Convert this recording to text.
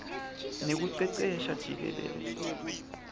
nekucecesha jikelele